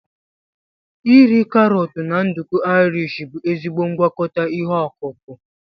iri karọt na nduku Irish bụ ezigbo ngwakọta ihe ọkụkụ.